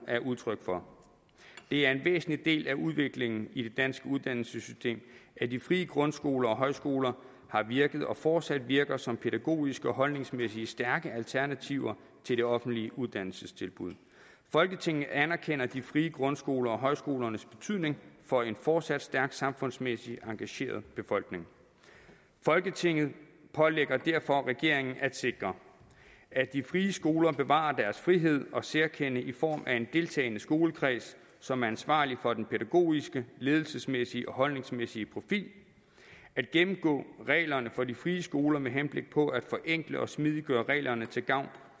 er udtryk for det er en væsentlig del af udviklingen i det danske uddannelsessystem at de frie grundskoler og højskoler har virket og fortsat virker som pædagogiske og holdningsmæssige stærke alternativer til det offentlige uddannelsestilbud folketinget anerkender de frie grundskoler og højskolernes betydning for en fortsat stærkt samfundsmæssigt engageret befolkning folketinget pålægger derfor regeringen at sikre at de frie skoler bevarer deres frihed og særkende i form af en deltagende skolekreds som er ansvarlig for den pædagogiske ledelsesmæssige og holdningsmæssige profil at gennemgå reglerne for de frie skoler med henblik på at forenkle og smidiggøre reglerne til gavn